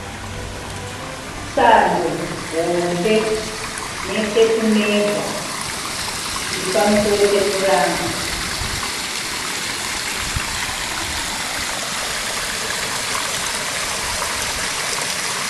Sando hombe netepimezha zviripamusoro pepuranga